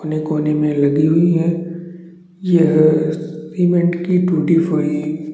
कोने कोने में लगी हुई है यह सीमेंट की टूटी हुई--